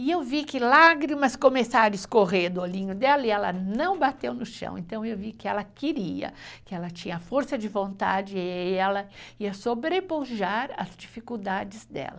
E eu vi que lágrimas começaram a escorrer do olhinho dela e ela não bateu no chão, então eu vi que ela queria, que ela tinha força de vontade e ela ia sobrepujar as dificuldades dela.